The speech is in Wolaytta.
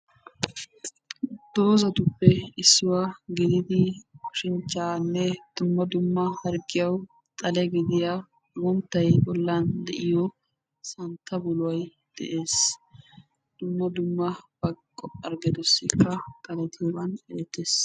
Doozatuppe issuwa gididi oshinchchaanne dumma dumma harggiyawu xale gidiya agunttay bollan de'iyo santta buloy de'es. Dumma dumma baqo harggetussikka xaletiyoogan erettes.